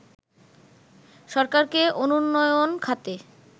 সরকারকে অনুন্নোয়ন খাতে